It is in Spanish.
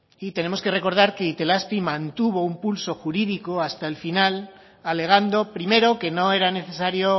y tenemos que recordar que itelazpi mantuvo un pulso jurídico hasta el final alegando primero que no era necesario